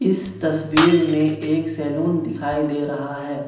इस तस्वीर में एक सैलून दिखाई दे रहा है।